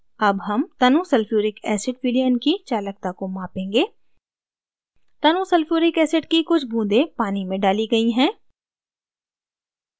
अब हम तनु sulphuric acid विलयन की चालकता को मापेंगे तनु dilute sulphuric acid की कुछ बूँदें पानी में डाली गई हैं